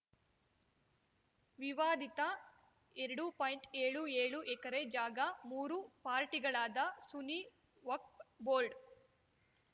ವಿವಾದಿತ ಎರಡು ಪಾಯಿಂಟ್ಏಳು ಏಳು ಎಕರೆ ಜಾಗ ಮೂರು ಪಾರ್ಟಿಗಳಾದ ಸುನಿ ವಕ್ಫ್ ಬೋರ್ಡ್